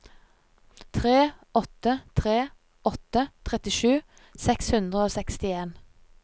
tre åtte tre åtte trettisju seks hundre og sekstien